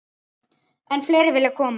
Enn fleiri vilja koma.